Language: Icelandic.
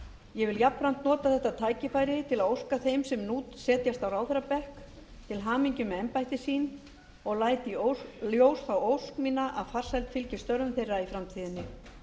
ég vil jafnframt nota þetta tækifæri til að óska þeim sem nú setjast á ráðherrabekk til hamingju með embætti sín og læt í ljósi þá ósk mína að farsæld fylgi störfum þeirra í framtíðinni